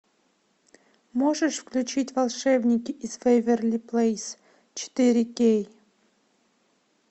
можешь включить волшебники из вэйверли плэйс четыре кей